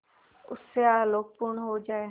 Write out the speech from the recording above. उससे आलोकपूर्ण हो जाए